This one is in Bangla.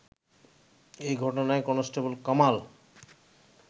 এ ঘটনায় কনস্টেবল কামাল